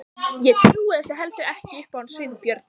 Ég trúi þessu heldur ekki upp á hann Sveinbjörn.